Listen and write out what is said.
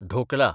dhokla